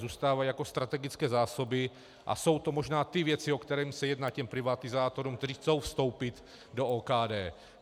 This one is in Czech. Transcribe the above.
Zůstávají jako strategické zásoby a jsou to možná ty věci, o kterých se jedná těm privatizátorům, kteří chtějí vstoupit do OKD.